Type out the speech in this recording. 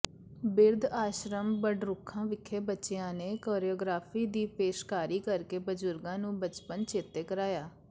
ਬਿਰਧ ਆਸ਼ਰਮ ਬਡਰੁੱਖਾਂ ਵਿਖੇ ਬੱਚਿਆਂ ਨੇ ਕੋਰੀਓਗ੍ਰਾਫੀ ਦੀ ਪੇਸ਼ਕਾਰੀ ਕਰਕੇ ਬਜ਼ੁਰਗਾਂ ਨੂੰ ਬਚਪਨ ਚੇਤੇ ਕਰਾਇਆ